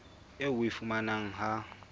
eo o e fumanang ha